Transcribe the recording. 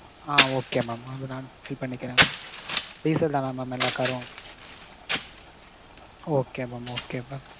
ஆ okay mam அது நான் fill பண்ணிக்கிறேன் mam. Diesel தானா mam எல்லா car ம். okay mam okay mam.